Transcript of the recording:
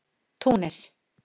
Túnis